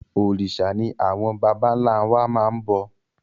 Òrìṣà ni àwọn bàbà ńlá wa máa ń bọ